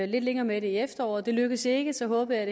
lidt længere med det i efteråret det lykkedes ikke så håbede